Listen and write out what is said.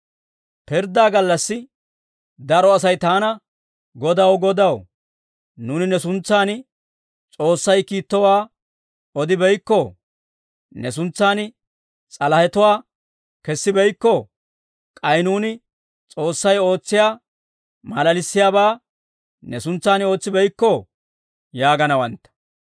Pirddaa gallassi daro Asay taana, ‹Godaw, Godaw, nuuni ne suntsan S'oossay kiittowaa odibeykkoo? Ne suntsan s'alahatuwaa kessibeykkoo? K'ay nuuni S'oossay ootsiyaa maalalissiyaabaa ne suntsaan ootsibeykkoo?› yaaganawantta.